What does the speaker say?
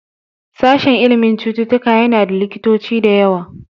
Sashen ilimin cututtuka yana da likitoci da yawa.